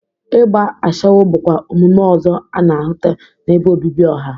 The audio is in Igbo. Igba ashawo bụkwa omume ọzọ a na-ahụta n'ebe obibi ọha.